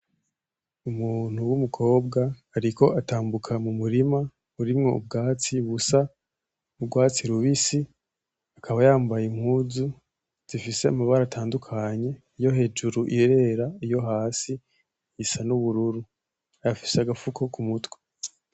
Umuntu w'umukobwa ariko atambuka mu murima urimwo ubwatsi busa nk'urwatsi rubisi akaba yambaye impuzu zifise amabara atandukanye, iyo hejuru irera, iyo hasi isa n'ubururu, afise agafuko k'umutwe.